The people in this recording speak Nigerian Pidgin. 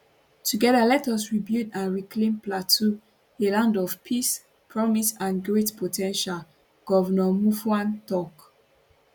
together let us rebuild and reclaim plateau a land of peace promise and great po ten tial govnor muftwang tok